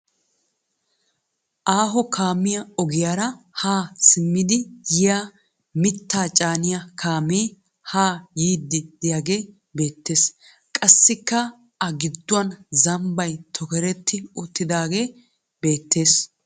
Aaho kaamiya ogiyaara haa simmidi yiya mittaa caaniya kaame haa yiiddi diyage beettes. Qassikka a gidduwan zambbay tokerti uttidaage beettes.